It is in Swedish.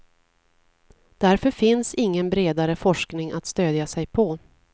Därför finns ingen bredare forskning att stödja sig på.